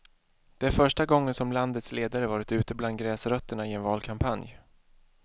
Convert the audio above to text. Det är första gången som landets ledare varit ute bland gräsrötterna i en valkampanj.